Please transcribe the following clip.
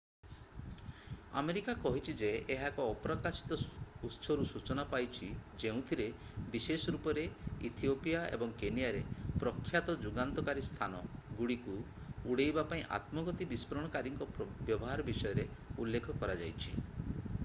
America କହିଛି ଯେ ଏହା ଏକ ଅପ୍ରକାଶିତ ଉତ୍ସରୁ ସୂଚନା ପାଇଛି ଯେଉଁଥିରେ ବିଶେଷ ରୂପରେ ଇଥିଓପିଆ ଏବଂ କେନିଆରେ ପ୍ରଖ୍ୟାତ ଯୁଗାନ୍ତକାରୀ ସ୍ଥାନ ଗୁଡ଼ିକୁ ଉଡ଼େଇବା ପାଇଁ ଆତ୍ମଘାତୀ ବିସ୍ଫୋରଣକାରୀଙ୍କ ବ୍ୟବହାର ବିଷୟରେ ଉଲ୍ଲେଖ କରାଯାଇଛି